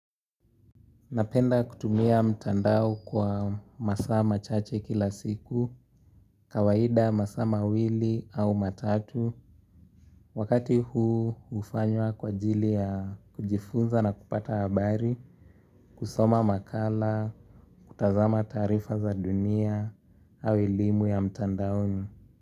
Napenda kutumia mtandao kwa masaa machache kila siku, kawaida masaa mawili au matatu, wakati huu hufanywa kwa ajili ya kujifunza na kupata habari, kusoma makala, kutazama taarifa za dunia au elimu ya mtandaoni.